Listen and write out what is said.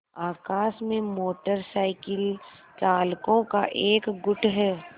आकाश में motorcycle चालकों का एक गुट है